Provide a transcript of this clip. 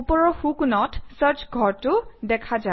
ওপৰৰ সোঁকোণত চাৰ্চ ঘৰটো দেখা যায়